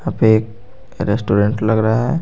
यहां पे एक रेस्टोरेंट लग रहा है.